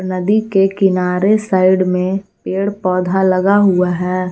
नदी के किनारे साइड में पेड़ पौधा लगा हुआ है।